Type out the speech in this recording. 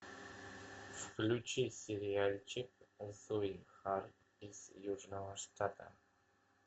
включи сериальчик зои харт из южного штата